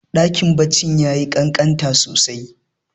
Ɗakin kwanan yayi kankanta sosai.